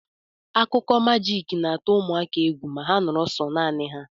Akụkọ majiiki na-atụ ụmụaka egwu ma ha noro so nani ha.